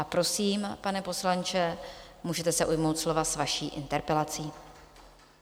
A prosím, pane poslanče, můžete se ujmout slova s vaší interpelací.